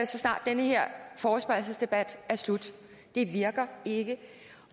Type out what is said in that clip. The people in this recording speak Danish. så snart den her forespørgselsdebat er slut det virker ikke